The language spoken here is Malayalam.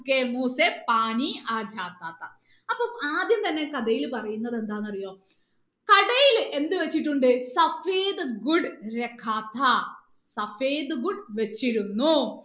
അപ്പൊ ആദ്യം തന്നെ ഈ കഥയിൽ പറയുന്നത് എന്താന്നറിയോ കടയിൽ എന്ത് വെച്ചിട്ടുണ്ട് വെച്ചിരുന്നു